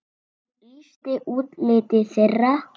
Hún lýsti útliti þeirra.